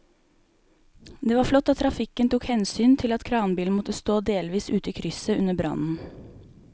Det var flott at trafikken tok hensyn til at kranbilen måtte stå delvis ute i krysset under brannen.